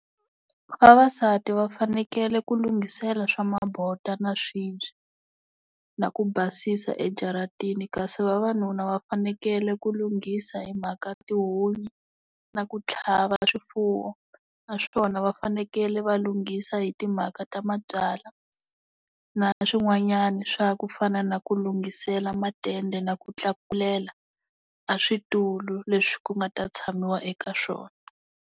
Vavasati va fanekele ku lunghisela swa mabota na swibye na ku basisa ejaratini kasi vavanuna va fanekele ku lunghisa hi mhaka tihunyi na ku tlhava swifuwo naswona va fanekele va lunghisa hi timhaka ta mabyalwa na swin'wanyana swa ku fana na ku lunghisela matende na ku tlakulela a switulu leswi ku nga ta tshamiwa eka swona.